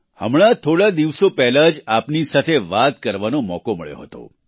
હમણાં થોડા દિવસો પહેલાં જ આપની સાથે વાત કરવાનો મોકો મળ્યો હતો